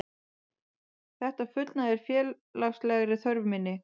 Þetta fullnægir félagslegri þörf minni.